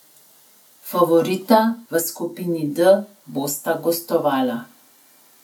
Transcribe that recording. Favorita v skupini D bosta gostovala.